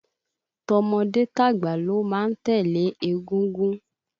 Tọmọdé tàgbà ló má ń tẹ̀lé égúngún